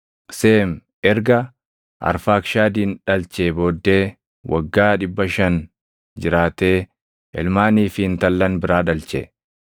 Seem erga Arfaakshadin dhalchee booddee waggaa 500 jiraatee ilmaanii fi intallan biraa dhalche.